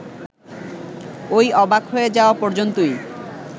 ওই অবাক হয়ে যাওয়া পর্যন্তই